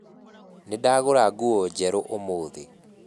Nĩ ndagũra nguo njerũ ũmuthĩ